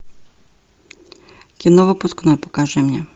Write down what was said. кино выпускной покажи мне